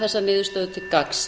þessa niðurstöðu til gagns